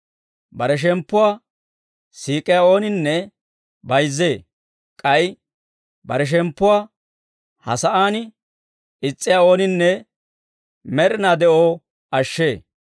Bare shemppuwaa siik'iyaa ooninne bayizzee; k'ay bare shemppuwaa ha sa'aan is's'iyaa ooninne med'inaa de'oo ashshee.